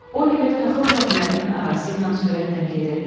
Oliver taxıl zəmilərinin arası ilə sürətlə gedirdi.